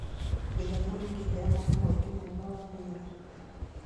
Gĩthomo nĩkĩheanaga mweke mwega wa wiĩa